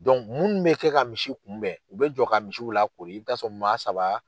mun bɛ kɛ ka misi kunbɛn, u bɛ jɔ ka misiw lakori, i be taa'a sɔrɔ maa saba